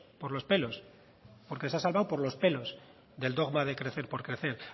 por los pelos porque se ha salvado por los pelos del dogma de crecer por crecer